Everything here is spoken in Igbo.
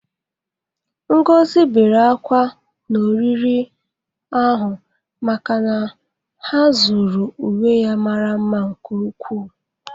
Ngozi bere ákwá n'oriri ahụ maka na ha zuru uwe ya mara mma nke ukwu.